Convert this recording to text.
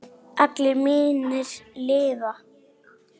Allir mínir lifa.